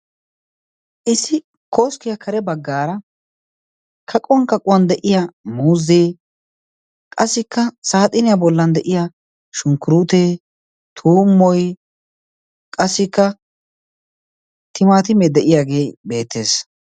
Issi kooskkiyaa kare baggaara kaquwan kaquwan de'iya muuzzee qasikka saaxiiniyaa bollan de'iya shunkkuruutee tuummoi qassikka timaatimee de'iyaagee beettees.